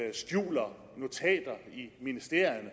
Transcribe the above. ikke skjuler notater i ministerierne